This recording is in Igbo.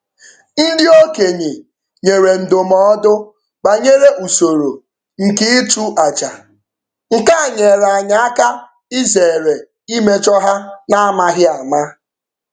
Ndị okenye nyere ndụmọdụ banyere usoro nke ịchụ aja, nke a nyeere anyị aka izeere imejo ha na-amaghị ama.